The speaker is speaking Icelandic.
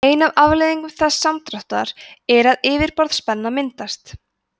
ein afleiðing þessa samdráttar er að yfirborðsspenna myndast